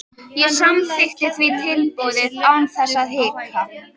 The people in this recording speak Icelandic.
Ég samþykkti því tilboðið án þess að hika.